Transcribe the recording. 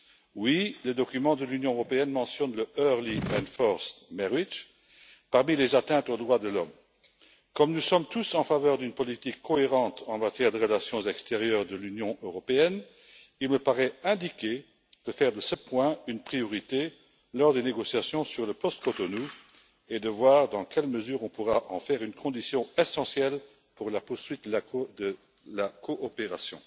Oui, le document de l'Union européenne mentionne le early and forced marriage parmi les atteintes aux droits de l'homme. Comme nous sommes tous en faveur d'une politique cohérente en matière de relations extérieures de l'Union européenne, il me paraît indiqué de faire de ce point une priorité lors des négociations sur le post Cotonou et de voir dans quelle mesure on pourra en faire une condition essentielle pour la poursuite de la coopération.